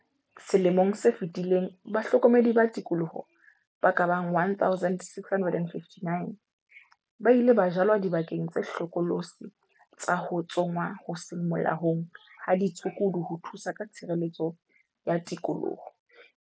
Selemong se fetileng bahlokomedi ba tikoloho ba ka bang 1 659 ba ile ba jalwa dibakeng tse hlokolosi tsa ho tsongwa ho seng molaong ha ditshukudu ho thusa ka tshireletso ya tikoloho.